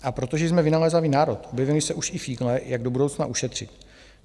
A protože jsme vynalézavý národ, objevily se už i fígle, jak do budoucna ušetřit.